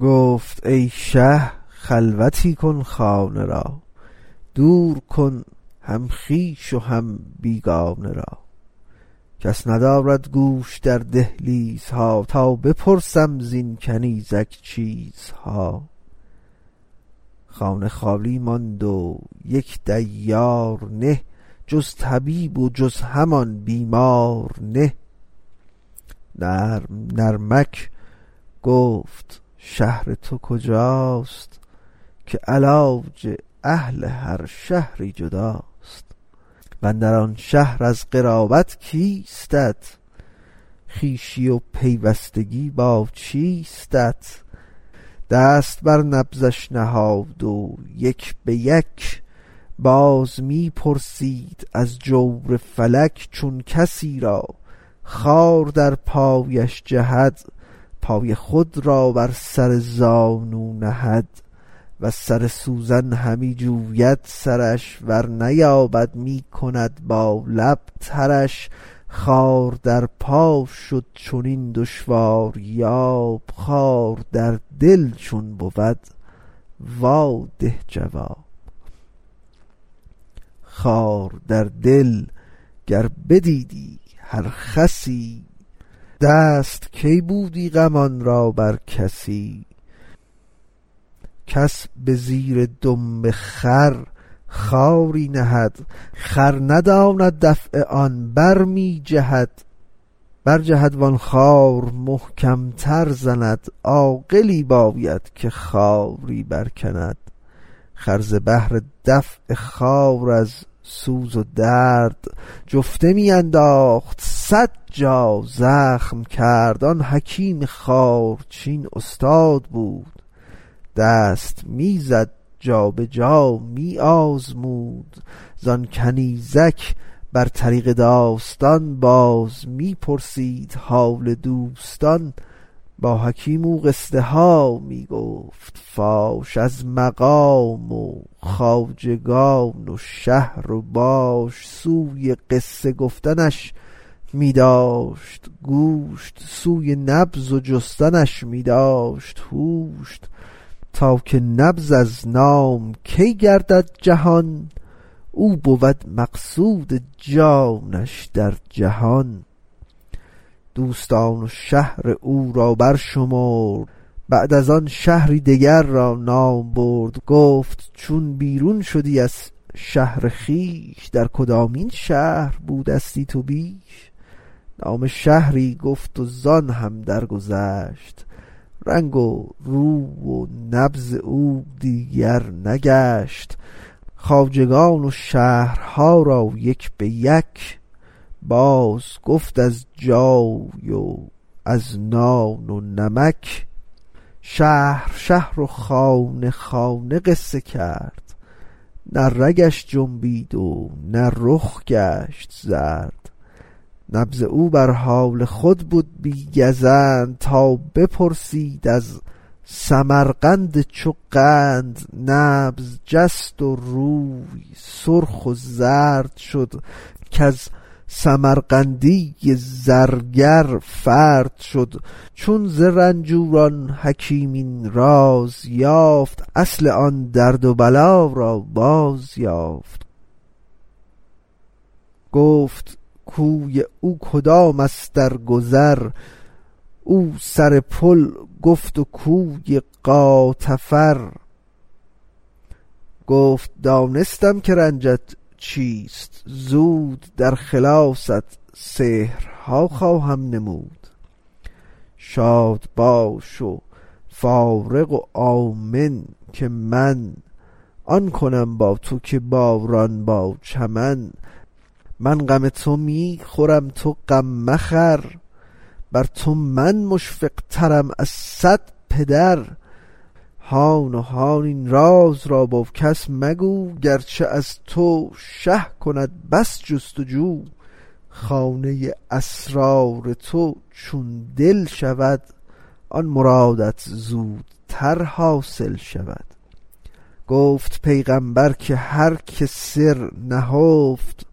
گفت ای شه خلوتی کن خانه را دور کن هم خویش و هم بیگانه را کس ندارد گوش در دهلیزها تا بپرسم زین کنیزک چیزها خانه خالی ماند و یک دیار نه جز طبیب و جز همان بیمار نه نرم نرمک گفت شهر تو کجاست که علاج اهل هر شهری جداست واندر آن شهر از قرابت کیستت خویشی و پیوستگی با چیستت دست بر نبضش نهاد و یک بیک باز می پرسید از جور فلک چون کسی را خار در پایش جهد پای خود را بر سر زانو نهد وز سر سوزن همی جوید سرش ور نیابد می کند با لب ترش خار در پا شد چنین دشواریاب خار در دل چون بود وا ده جواب خار در دل گر بدیدی هر خسی دست کی بودی غمان را بر کسی کس به زیر دم خر خاری نهد خر نداند دفع آن برمی جهد برجهد وان خار محکم تر زند عاقلی باید که خاری برکند خر ز بهر دفع خار از سوز و درد جفته می انداخت صد جا زخم کرد آن حکیم خارچین استاد بود دست می زد جابجا می آزمود زان کنیزک بر طریق داستان باز می پرسید حال دوستان با حکیم او قصه ها می گفت فاش از مقام و خواجگان و شهر و باش سوی قصه گفتنش می داشت گوش سوی نبض و جستنش می داشت هوش تا که نبض از نام کی گردد جهان او بود مقصود جانش در جهان دوستان و شهر او را برشمرد بعد از آن شهری دگر را نام برد گفت چون بیرون شدی از شهر خویش در کدامین شهر بودستی تو بیش نام شهری گفت و زان هم درگذشت رنگ روی و نبض او دیگر نگشت خواجگان و شهرها را یک بیک باز گفت از جای و از نان و نمک شهر شهر و خانه خانه قصه کرد نه رگش جنبید و نه رخ گشت زرد نبض او بر حال خود بد بی گزند تا بپرسید از سمرقند چو قند نبض جست و روی سرخ و زرد شد کز سمرقندی زرگر فرد شد چون ز رنجور آن حکیم این راز یافت اصل آن درد و بلا را باز یافت گفت کوی او کدام است در گذر او سر پل گفت و کوی غاتفر گفت دانستم که رنجت چیست زود در خلاصت سحرها خواهم نمود شاد باش و فارغ و آمن که من آن کنم با تو که باران با چمن من غم تو می خورم تو غم مخور بر تو من مشفق ترم از صد پدر هان و هان این راز را با کس مگو گرچه از تو شه کند بس جست و جو خانه اسرار تو چون دل شود آن مرادت زودتر حاصل شود گفت پیغامبر که هر که سر نهفت